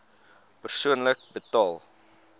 persoonlik betaal